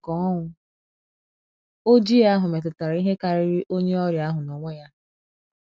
Ọdachi nke Ọnwụ Ojii ahụ metutara ihe karịrị onye ọrịa ahụ n’onwe ya.